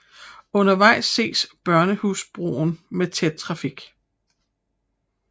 Undervejs ses Børnehusbroen med tæt trafik